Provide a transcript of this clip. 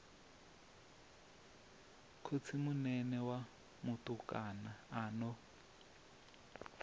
khotsimunene wa mutukana a no